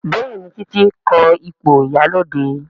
Béèni Titi ko ipo ìyálóde.